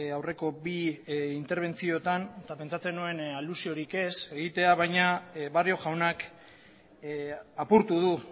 aurreko bi interbentziotan eta pentsatzen nuen alusiorik ez egitea baina barrio jaunak apurtu du